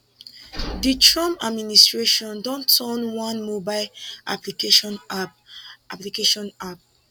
di trump administration don turn one mobile application app application app